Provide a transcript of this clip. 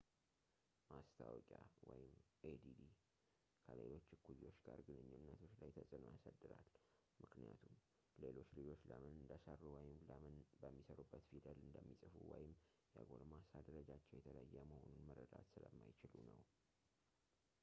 ማስታወቂያadd ከሌሎች እኩዮች ጋር ግንኙነቶች ላይ ተጽዕኖ ያሳድራል ምክንያቱም ሌሎች ልጆች ለምን እንደሰሩ ወይም ለምን በሚሰሩበት ፊደል እንደሚጽፉ ወይም የጎልማሳ ደረጃቸው የተለየ መሆኑን መረዳት ስለማይችሉ ነው